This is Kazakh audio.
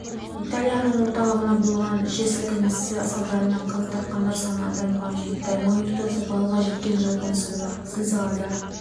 италияның орталығында болған жер сілкінісі салдарынан қаза тапқандар саны адамға жетті магнитудасы баллға жеткен жойқын зілзала